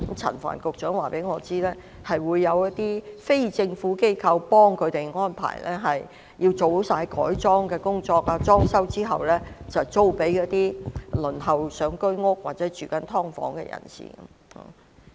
陳帆局長告訴我，有些非政府機構會協助安排，做好改裝及裝修後，便會租給正輪候公屋或居於"劏房"的人士。